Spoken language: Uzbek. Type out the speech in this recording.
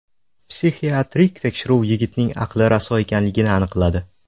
Psixiatrik tekshiruv yigitning aqli raso ekanligini aniqladi.